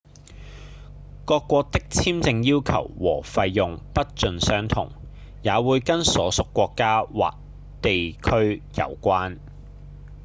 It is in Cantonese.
各國的簽證要求和費用不盡相同也會跟所屬國家或地區有關